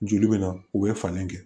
Joli bɛ na u bɛ fani kɛ